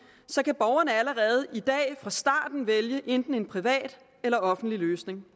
så kan borgerne allerede i dag fra starten vælge enten en privat eller offentlig løsning